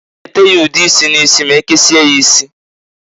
A g ete ya ude isi n'isi ma e kesie ya isi.